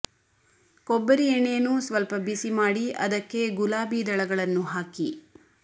ಕೊಬ್ಬರಿ ಎಣ್ಣೆಯನ್ನು ಸ್ವಲ್ಪ ಬಿಸಿ ಮಾಡಿ ಅದಕ್ಕೆ ಗುಲಾಬಿ ದಳಗಳನ್ನು ಹಾಕಿ